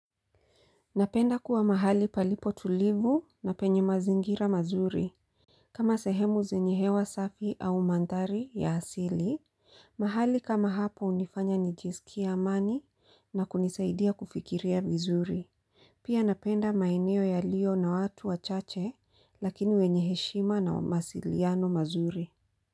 Napenda kuwa mahali palipo tulivu na penye mazingira mazuri. Kama sehemu zenye hewa safi au mandhari ya asili, mahali kama hapo hunifanya nijisikie amani na kunisaidia kufikiria vizuri. Pia napenda maeneo yaliyo na watu wachache lakini wenye heshima na mawasiliano mazuri.